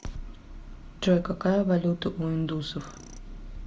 джой какая валюта у индусов